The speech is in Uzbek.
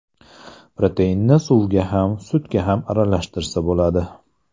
Proteinni suvga ham, sutga ham aralashtirsa bo‘ladi.